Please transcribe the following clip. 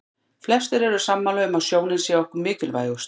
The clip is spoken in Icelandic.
Flestir eru sammála um að sjónin sé okkur hvað mikilvægust.